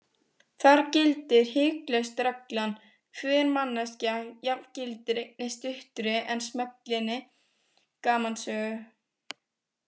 Þar gildir hiklaust reglan: hver manneskja jafngildir einni stuttri en smellinni gamansögu.